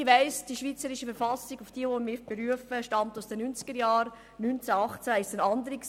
Ich weiss, dass die BV, auf die ich mich berufe, aus den 1990er-Jahren stammt.